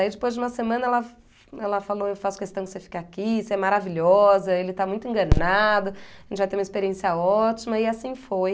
Aí depois de uma semana ela ela falou, eu faço questão de você fique aqui, você é maravilhosa, ele está muito enganado, a gente vai ter uma experiência ótima, e assim foi.